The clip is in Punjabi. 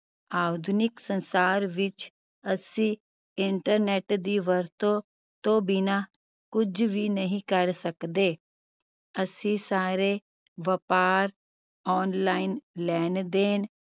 ਆਧੁਨਿਕ ਸੰਸਾਰ ਵਿਚ ਅਸੀਂ internet ਦੀ ਵਰਤੋਂ ਤੋਂ ਬਿਨਾ ਕੁਝ ਵੀ ਨਹੀਂ ਕਰ ਸਕਦੇ ਅਸੀਂ ਸਾਰੇ ਵਪਾਰ online ਲੈਣ ਦੇਣ